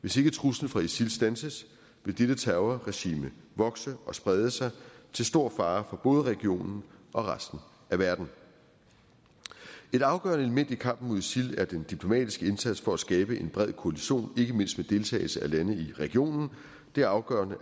hvis ikke truslen fra isil standses vil dette terrorregime vokse og sprede sig til stor fare for både regionen og resten af verden et afgørende element i kampen mod isil er den diplomatiske indsats for at skabe en bred koalition ikke mindst med deltagelse af lande i regionen det er afgørende